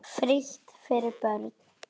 Frítt fyrir börn.